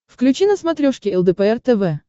включи на смотрешке лдпр тв